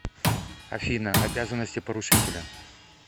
афина обязанности поручителя